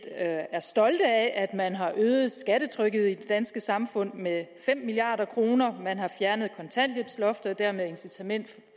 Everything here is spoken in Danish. er stolte af at man har øget skattetrykket i det danske samfund med fem milliard kr man har fjernet kontanthjælpsloftet og dermed incitamentet